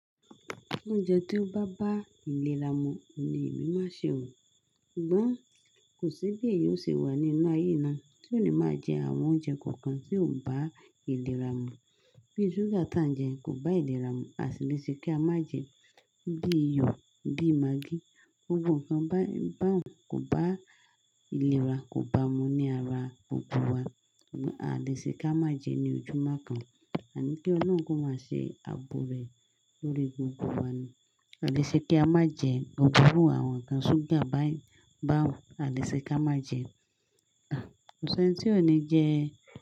Oúnjẹ tí ó bá bá ìlera mu ohun ni èmi máa ṣe óò. Ṣùgbọ́n kò sí bí èèyàn ó ṣe wà nínú ayé náà tí ò ní máa jẹ àwọn oúnjẹ kankan tí ò bá ìlera mu. Bíi ṣúgà tí à ń jẹ kò bá ìlera mu, à sì le ṣe kí a má jẹ, bíi iyọ̀, bíi magí. Gbogbo nǹkan báyiì ko bá ìlera kò bá mu ní ara gbogbo wa, ṣugbọn à lè ṣe kí a má jẹ ní ojúmọ́ kan, àní kí Ọlọ́run kó máa ṣe ààbò rẹ̀ lórí gbogbo wa ni. A lè ṣe kí a má jẹ gbogbo iru àwọn nǹkan ṣúgà báyiì, a lè ṣe ká má jẹ. Kòsí ẹni tí ò ní jẹ.